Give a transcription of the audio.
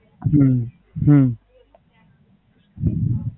હમ હમ